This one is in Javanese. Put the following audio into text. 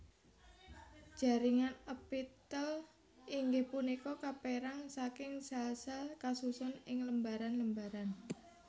Jaringan èpitèl inggih punika kapèrang saking sèl sèl kasusun ing lembaran lembaran